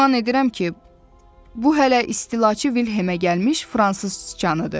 Güman edirəm ki, bu hələ istilaçı Vilhemə gəlmiş fransız sıçanıdır.